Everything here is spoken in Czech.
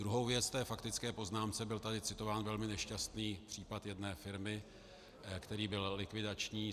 Druhou věc k té faktické poznámce, byl tady citován velmi nešťastný případ jedné firmy, který byl likvidační.